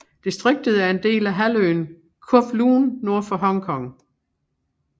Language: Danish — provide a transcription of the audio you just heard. Distriktet er en del af halvøen Kowloon nord for Hongkong